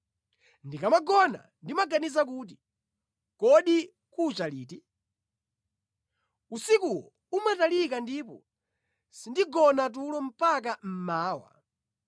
Ndikamagona ndimaganiza kuti, ‘Kodi kucha liti?’ Usikuwo umatalika ndipo sindigona tulo mpaka mmawa.